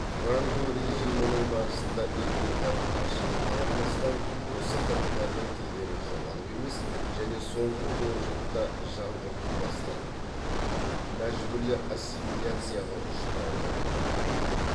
франко режимінің барысында этникалық азшылыққа қарамастан осы халықтардың тілдері жоғалып емес және соңғы онжылдықта жаңғырту бастан мәжбүрлі ассимиляцияға ұшырауы бірақ болды